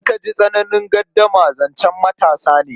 Idan ka ji tsananin gardama, zancen matasa ne.